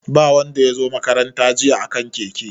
Ba wanda ya zo makaranta jiya a kan keke.